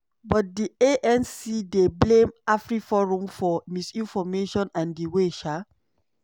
but di anc dey blame afriforum for misinformation and di way um